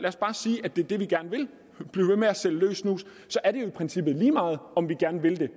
blive ved med at sælge løs snus så er det jo i princippet lige meget om vi gerne vil det